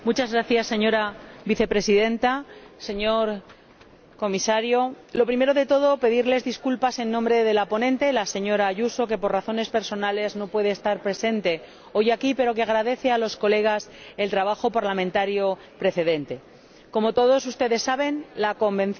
Señora Vicepresidenta, señor Comisario, en primer lugar quisiera pedirles disculpas en nombre de la ponente, la señora Ayuso, que, por razones personales, no puede estar presente hoy aquí, pero que agradece a sus Señorías el trabajo parlamentario precedente. Como todos ustedes saben, la CITES, la Convención